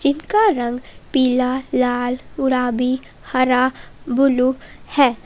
इनका रंग पीला लाल गुलाबी हरा ब्लू है।